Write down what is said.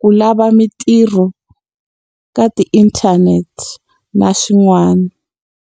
ku lava mintirho ka ti-internet, na swin'wana.